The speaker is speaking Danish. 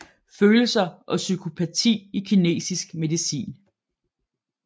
Følelser og psykopati i kinesisk medicin